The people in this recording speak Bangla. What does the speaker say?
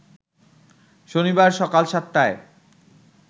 শনিবার সকাল সাতটায়